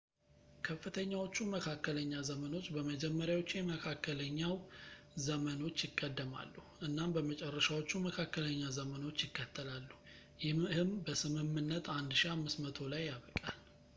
ከፍተኛዎቹ መካከለኛ ዘመኖች በመጀመሪያዎቹ የመካከለኛው ዘመኖች ይቀደማሉ እናም በመጨረሻዎቹ መካከለኛ ዘመኖች ይከተላሉ ይህም በስምምነት 1500 ላይ ያበቃል